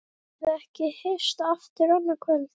Getum við ekki hist aftur annað kvöld?